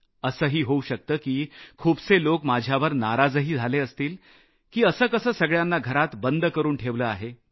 असंही होऊ शकतं की खूपसे लोक माझ्यावर नाराजही झाले असतील की असं कसं सगळ्यांना घरात बंद करून ठेवलं आहे